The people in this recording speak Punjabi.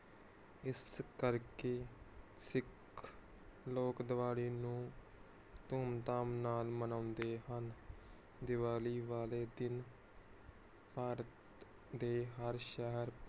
ਇਸ ਕਰਕੇ ਸਿੱਖ ਲੋਕ ਦੀਵਾਲੀ ਨੂੰ ਧੂਮ ਧਾਮ ਨਾਲ ਮਨੌਂਦੇ ਹਨ